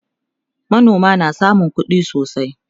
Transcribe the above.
manoma na samun kuɗi sosai